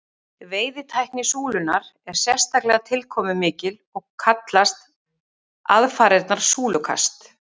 Veiðitækni súlunnar er sérstaklega tilkomumikil og kallast aðfarirnar súlukast.